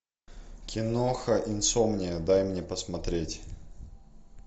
киноха инсомния дай мне посмотреть